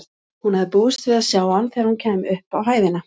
Hún hafði búist við að sjá hann þegar hún kæmi upp á hæðina.